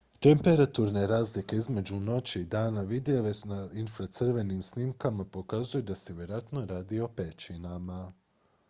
temperaturne razlike između noći i dana vidljive na infracrvenim snimkama pokazuju da se vjerojatno radi o pećinama